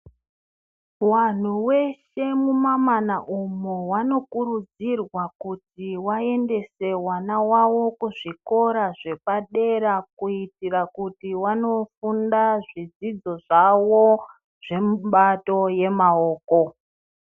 Vantu veshe mumamana umo vanokurudzirwa kuti vaendese vana vavo kuzvikora zvepadera. Kuitira kuti vanofunda zvidzidzo zvavo zvemubato vemaoko.